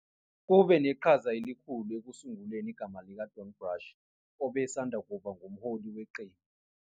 Kube neqhaza elikhulu ekusunguleni igama likaDon Brash, obesanda kuba ngumholi weqembu.